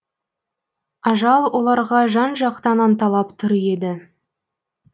ажал оларға жан жақтан анталап тұр еді